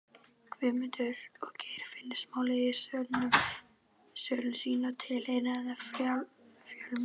Guðmundar- og Geirfinnsmálsins í sölum sínum með tilheyrandi fjölmiðlafári.